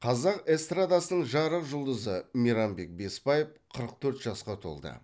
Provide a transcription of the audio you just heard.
қазақ эстрадасының жарық жұлдызы мейрамбек бесбаев қырық төрт жасқа толды